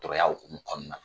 Tɔrɔya hukumu kɔnɔna na